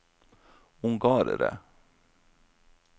ungarere